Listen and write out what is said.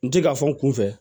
N ti ka fɔ n kun fɛ